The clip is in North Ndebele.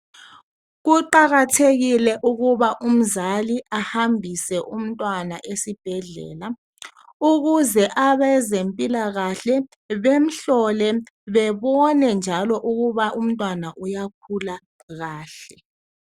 Kuqakathekile ukuba umzali ahambise umtwana esibhedlela ukuze abezempila kahle bemhlole bebone njalo ukuba umtwana uyakhula kahle